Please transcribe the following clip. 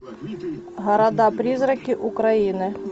города призраки украины